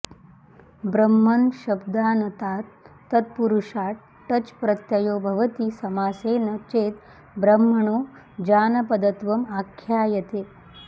ब्रह्मन्शब्दानतात् तत्पुरुषाट् टच् प्रत्ययो भवति समासेन चेद् ब्रह्मणो जानपदत्वम् आख्यायते